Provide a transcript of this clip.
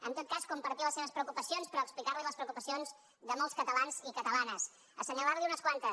en tot cas compartir les seves preocupacions però explicar li les preocupacions de molts catalans i catalanes assenyalant li’n unes quantes